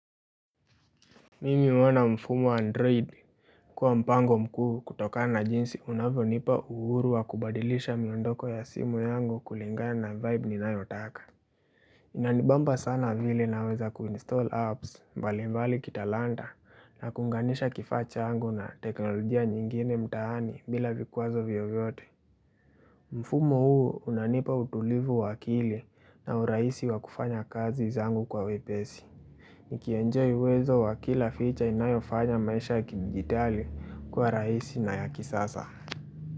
Mimi naona mfumo wa android Kua mpango mkuu kutokana na jinsi unavyonipa uhuru wa kubadilisha miondoko ya simu yangu kulingana na vibe ninayotaka Inanibamba sana vile naweza kuinstall apps mbali mbali kitalanta na kuunganisha kifaa changu na teknolojia nyingine mtaani bila vikwazo vyovyote mfumo huu unanipa utulivu wa akili na urahisi wa kufanya kazi zangu kwa wepesi nikienjoy uwezo wa kila feature inayofanya maisha kidijitali kua rahisi na ya kisasa.